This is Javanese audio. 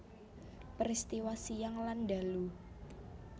Peristiwa siang lan ndalu